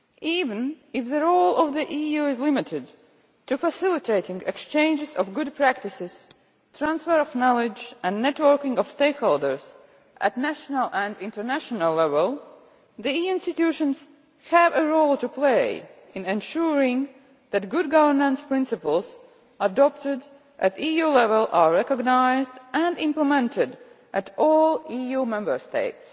Even if the role of the EU is limited to facilitating exchanges of good practice, transfers of knowledge and networking of stakeholders at national and international level, the EU institutions have a role to play in ensuring that good governance principles adopted at EU level are recognised and implemented in all EU Member States.